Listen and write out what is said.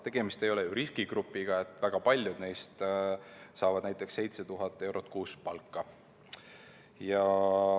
Tegemist ei ole ju riskigrupiga, väga paljud neist saavad näiteks 7000 eurot kuus palka.